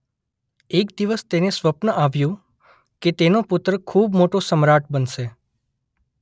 એક દિવસ તેને સ્વપ્ન આવ્યુ કે તેનો પુત્ર ખૂબ મોટો સમ્રાટ બનશે.